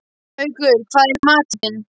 Haukur, hvað er í matinn?